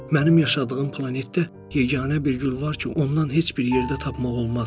Mənim yaşadığım planetdə yeganə bir gül var ki, ondan heç bir yerdə tapmaq olmaz.